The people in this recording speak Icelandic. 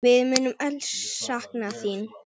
Við munum öll sakna þín.